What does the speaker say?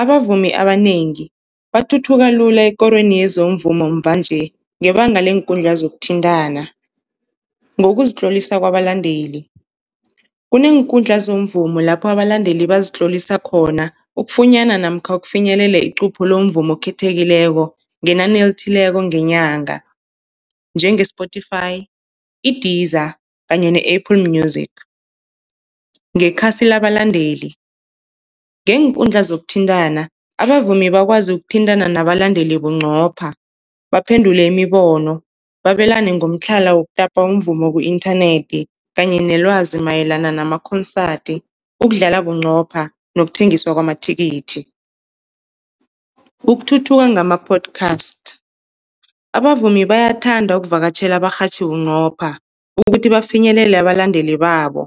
Abavumi abanengi bathuthuka lula ekorweni yezomvumo muva-nje ngebanga leenkundla zokuthintana. Ngokuzitlolisa kwabalandeli, kuneenkundla zomvumo lapho abalandeli bazitlolisa khona ukufunyana namkha ukufinyelela icupho lomvumo okhethekileko ngenani elithileko ngenyanga, njenge-Spotify, i-Deezer kanye ne-Apple Music. Ngekhasi labandeli, ngeenkundla zokuthintana abavumi bakwazi ukuthintana nabalandeli bunqopha baphendule imibono, babelane ngomtlhala wokutapa umvumo ku-inthanethi kanye nelwazi mayelana namakhonsadi, ukudlala bunqopha nokuthengisa kwamathikithi. Ukuthuthuka ngama-podcast, abavumi bayathanda ukuvakatjhela abarhatjhi bunqopha ukuthi bafinyelele abalandeli babo,